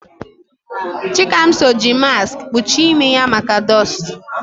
Chikamso ji maskị kpuchie imi ya maka dọstụ.